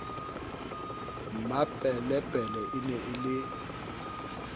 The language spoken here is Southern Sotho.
mmapelepele e ne e le